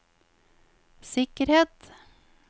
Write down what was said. sikkerhet